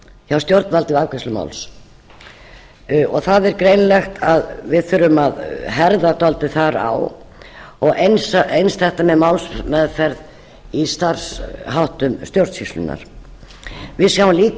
hjá stjórnvöldum við afgreiðslu máls það er greinilegt að við þurfum að herða dálítið þar á og eins þetta með málsferð við sjáum líka